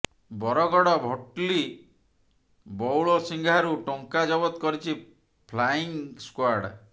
ବରଗଡ ଭଟଲି ବଉଳସିଂହା ରୁ ଟଙ୍କା ଜବତ କରିଛି ଫ୍ଲାଇଂ ସ୍କ୍ବାର୍ଡ